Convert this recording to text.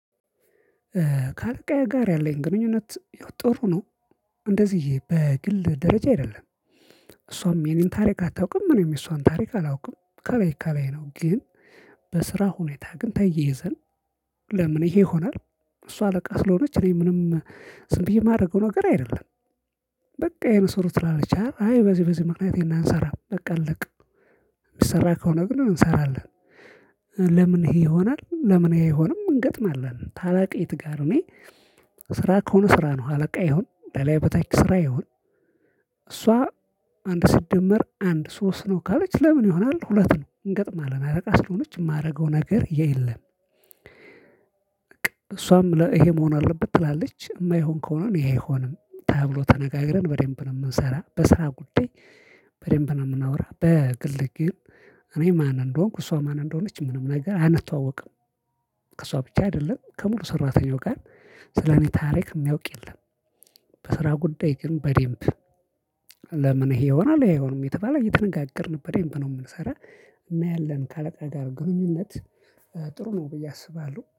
ከአለቃዬ ጋር ያለኝ ግንኙነት ጥሩ ነው። እንደዚህ በግል ደረጃ አይደለም። እሷም የኔን ታሪክ አታውቅም እኔም እሷን ታሪክ አላውቅም። ከላይ ከላይ ነው ግን። በስራ ሁኔታ ግን ተይ ይዘን ለምን ይሄ ይሆናል? እሷ አለቃ ስለሆነች እኔ ምንም ስንት የማደርገው ነገር አይደለም። በቃ የሆነ ሰው ትላለች አይ በዚህ በዚህ ምክንያት ይሄን እንሰራ በቃ አለቀ። የሚሰራ ከሆነ ግን እንሰራለን። ለምን ይሄ ይሆናል? ለምን ይሄ ይሆንም እንገጥማለን። ታላቅ የት ጋር እኔ? ስራ ከሆነ ስራ ነው አለቃ ይሁን ለላይ በታች ስራ ይሁን። እሷ አንድ ሲደመር አንድ ሶስት ነው ካለች ለምን ይሆናል ሁለት ነው እንገጥማለን አለቃ ስለሆነች የማደርገው ነገር የለም። እሷም ለይሄ መሆን አለበት ትላለች የማይሆን ከሆነ እኔ አይሆንም ተብሎ ተነጋግረን በዴምፕል እንሰራ በስራ ጉዳይ። በዴምፕል እናውራ በግልግል። ማን እንደሆንኩ እሷ ማን እንደሆነች ምንም ነገር አንታውቅም። ከሷ ብቻ አይደለም ከሙሉ ሰራተኛው ጋር ስለኔ ታሪክ የሚያውቅ የለም። በስራ ጉዳይ ግን በዴምፕ። ለምን ይሄ ይሆናል? ያየውንም የተባለ እየተነጋገርን በነበረን ብሎ የምንሰራ። እናያለን ከአለቃ ጋር ግንኙነት ጥሩ ነው ብዬ አስባለሁ